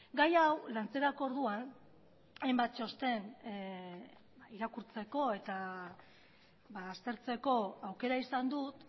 gai hau lantzerako orduan hainbat txosten irakurtzeko eta aztertzeko aukera izan dut